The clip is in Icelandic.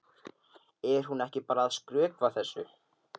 Er hún ekki bara að skrökva þessu?